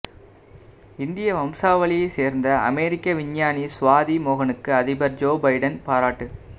இந்திய வம்சாவளியை சேர்ந்த அமெரிக்க விஞ்ஞானி சுவாதி மோகனுக்கு அதிபர் ஜோ பைடன் பாராட்டு